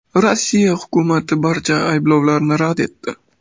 Rossiya hukumati barcha ayblovlarni rad etdi.